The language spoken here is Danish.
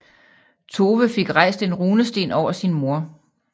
Tove fik rejst en runesten over sin mor